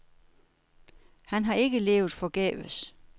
Han har ikke levet forgæves.